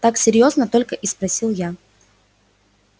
так серьёзно только и спросил я